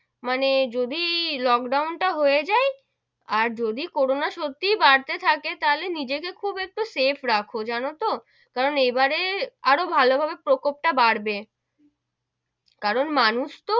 মানে যদি লোকডাউন টা হয়ে যাই আর যদি করোনা সত্যি বাড়তে থাকে তাহলে নিজে কে খুব একটু safe রাখো যেন তো, কারণ এবারে আরো ভালো ভাবে প্রকোপ টা বাড়বে, কারণ মানুষ তো,